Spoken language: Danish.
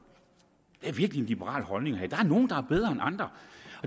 det er virkelig liberalt holdning at der er nogle der er bedre end andre